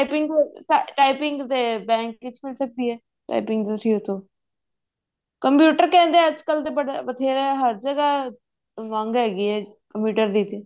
typing ਅਮ bank ਵਿੱਚ ਮਿਲ ਸਕਦੀ ਹੈ typing ਹੋ ਤੇ computer ਕਹਿੰਦੇ ਅੱਜਕਲ ਤੇ ਬੜਾ ਹਰ ਜਗ੍ਹਾ ਮੰਗ ਹੈਗੀ ਹੈ computer ਦੀ ਤੇ